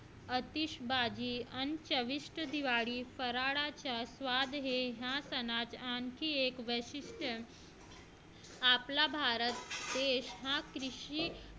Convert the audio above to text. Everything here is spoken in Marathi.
आतिशबाजी आणि चविष्ट दिवाळी फराळाचा स्वाद या सणाचे आणखी एक वैशिष्ट्य आपला भारत देश हा कृषी